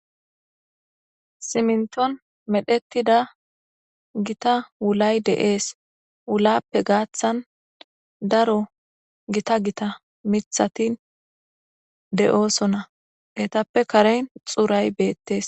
Siminitoni medhetida gitta wulayi deyesi, wulappe gathani darro gitta gitta mithati de'osona etape kareni xurayi betesi